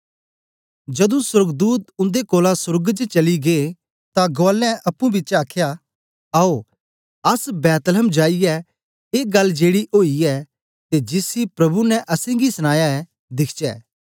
जदूं सोर्गदूत उन्दे कोलां सोर्ग च चली गै तां गुआलें अप्पुंपिछें आख्या आओ अस बैतलहम जाईयै ए गल्ल जेड़ी ओईयै ते जिसी प्रभु ने असेंगी सनाया ऐ दिखचै